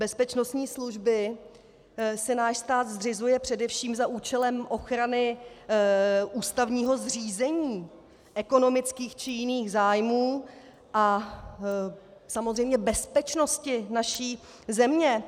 Bezpečnostní služby si náš stát zřizuje především za účelem ochrany ústavního zřízení, ekonomických či jiných zájmů a samozřejmě bezpečnosti naší země.